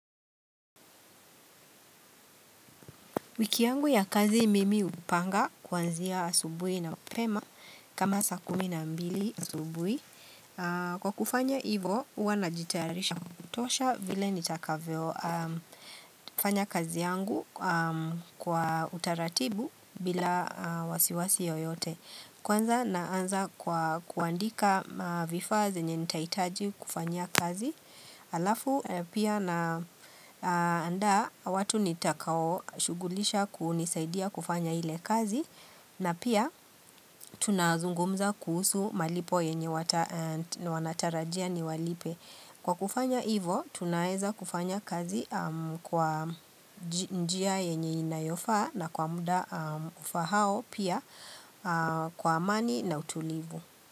Wiki yangu ya kazi mimi upanga kuanzia asubui na mapema kama sa kumi na mbili asubui Kwa kufanya ivo hua najitarisha kutosha vile nitakavyofanya kazi yangu kwa utaratibu bila wasiwasi yoyote. Kwanza naanza kwa kuandika vifaa zenye nitaitaji kufanyia kazi alafu pia naandaa watu nitakao shugulisha kunisaidia kufanya ile kazi na pia tunazungumza kuhusu malipo yenye wanatarajia niwalipe kwa kufanya hivo tunaeza kufanya kazi kwa njia yenye inayofaa na kwa muda ufahao pia kwa amani na utulivu.